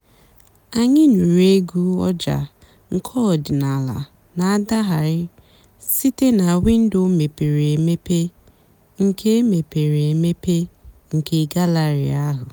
ányị́ nụ́rụ́ ègwú ọ̀jà́ nkè ọ̀dị́náàlà nà-àdàghàrị́ sìté nà wìndò mépèré èmépe nkè mépèré èmépe nkè gàllèrị́ àhú́.